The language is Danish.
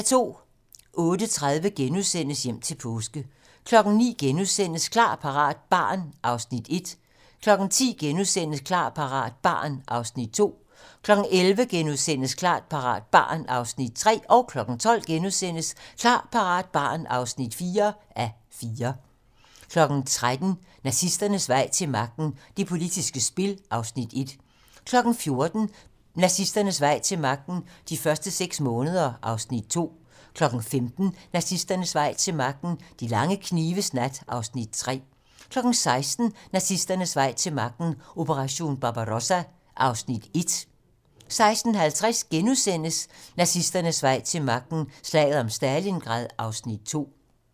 08:30: Hjem til påske * 09:00: Klar, parat - barn (1:4)* 10:00: Klar, parat - barn (2:4)* 11:00: Klar, parat - barn (3:4)* 12:00: Klar, parat - barn (4:4)* 13:00: Nazisternes vej til magten: Det politiske spil (Afs. 1) 14:00: Nazisternes vej til magten: De første seks måneder (Afs. 2) 15:00: Nazisternes vej til magten: De lange knives nat (Afs. 3) 16:00: Nazisternes vej til magten: Operation Barbarossa (Afs. 1) 16:50: Nazisternes vej til magten: Slaget om Stalingrad (Afs. 2)*